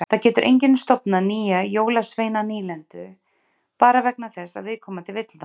Það getur enginn stofnað nýja jólasveinanýlendu bara vegna þess að viðkomandi vill það.